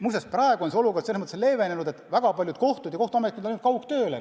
Muuseas, praegu on see olukord selles mõttes leevenenud, et väga paljud kohtud ja kohtuametnikud on üle läinud kaugtööle.